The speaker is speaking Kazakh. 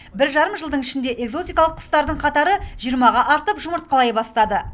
бір жарым жылдың ішінде экзотикалық құстардың қатары жиырмаға артып жұмыртқалай бастады